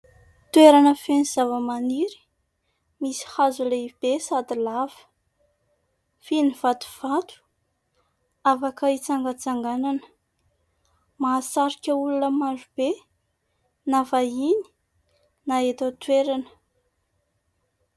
Toerana feno zavamaniry misy hazo lehibe sady lava, feno vatovato afaka hitsangantsanganana. Mahasarika olona marobe na vahiny na eto an-toerana.